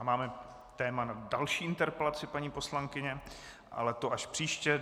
A máme téma na další interpelaci paní poslankyně, ale to až příště.